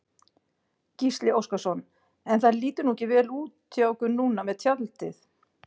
Gísli Óskarsson: En það lítur nú ekki vel út hjá ykkur núna með tjaldið?